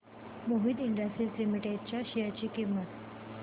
Mohit industries limited च्या share ची किंमत